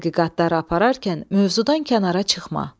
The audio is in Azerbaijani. Tədqiqatlara apararkən mövzudan kənara çıxma.